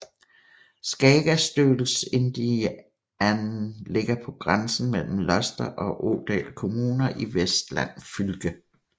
Skagastølstindane ligger på grænsen mellem Luster og Årdal kommuner i Vestland fylke